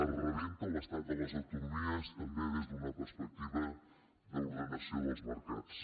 es rebenta l’estat de les autonomies també des d’una perspectiva d’ordenació dels mercats